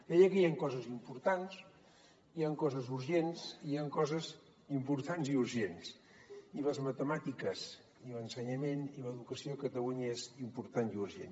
deia que hi han coses importants hi han coses urgents i hi han coses importants i urgents i les matemàtiques i l’ensenyament i l’educació a catalunya són importants i urgents